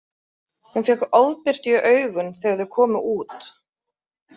Hún fékk ofbirtu í augun þegar þau komu út.